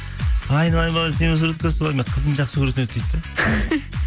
айналайын балам сенімен суретке түсіп алайын менің қызым жақсы көретін еді дейді де